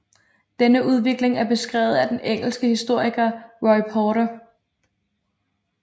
Denne udvikling er beskrevet af den engelske historiker Roy Porter